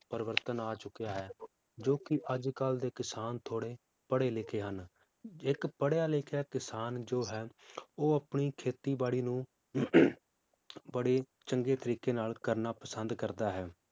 ਪਰਿਵਰਤਨ ਆ ਚੁਕਿਆ ਹੈ ਜੋ ਕਿ ਅੱਜਕੱਲ ਦੇ ਕਿਸਾਨ ਥੋੜੇ ਪੜ੍ਹੇ ਲਿਖੇ ਹਨ ਇਕ ਪੜ੍ਹਿਆ ਲਿਖਿਆ ਕਿਸਾਨ ਜੋ ਹੈ ਉਹ ਆਪਣੀ ਖੇਤੀ ਬਾੜੀ ਨੂੰ ਬੜੇ ਚੰਗੇ ਤਰੀਕੇ ਨਾਲ ਕਰਨਾ ਪਸੰਦ ਕਰਦਾ ਹੈ